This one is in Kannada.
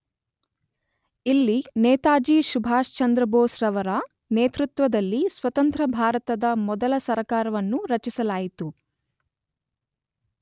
ಇಲ್ಲಿ ನೇತಾಜಿ ಸುಭಾಷ್ ಚಂದ್ರ ಬೋಸ್ ರವರ ನೇತೃತ್ವದಲ್ಲಿ ಸ್ವತಂತ್ರ ಭಾರತದ ಮೊದಲ ಸರಕಾರವನ್ನು ರಚಿಸಲಾಯಿತು.